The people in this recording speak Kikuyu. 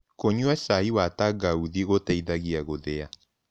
Kũnyua cai wa tangaũthĩ gũteĩthagĩa gũthĩa